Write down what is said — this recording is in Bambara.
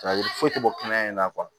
foyi tɛ bɔ kɛnɛ in na